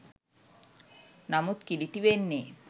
නමුත් කිළිටි වෙන්නේ